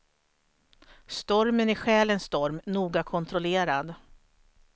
Stormen är själens storm, noga kontrollerad.